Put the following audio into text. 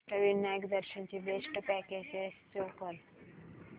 अष्टविनायक दर्शन ची best packages show कर